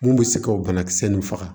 Mun bɛ se ka o banakisɛ ninnu faga